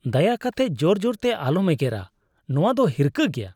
ᱫᱟᱭᱟ ᱠᱟᱛᱮ ᱡᱳᱨ ᱡᱳᱨ ᱫᱚ ᱟᱞᱚᱢ ᱮᱜᱮᱨᱟ, ᱱᱟᱶᱟ ᱫᱚ ᱦᱤᱨᱠᱟᱹ ᱜᱮᱭᱟ ᱾